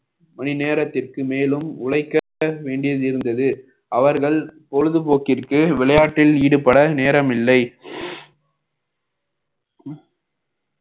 மணி நேரத்திற்கு மேலும் உழைக்க வேண்டியது இருந்தது அவர்கள் பொழுதுபோக்கிற்கு விளையாட்டில் ஈடுபட நேரமில்லை